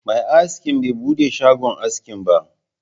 Mai askin bai buɗe shagon askin ba